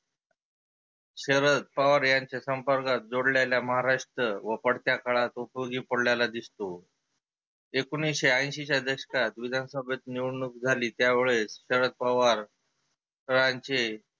शरद पवार यांचे संपर्कात जोडलेल्या महाराष्ट्र व पडत्या काळात उपयोगी पडलेला दिसतो. एकोनिसशे ऐंशीच्या दशकात विधान सभेत निवडनुक झाली त्यावेळेस शरद पवार रांचे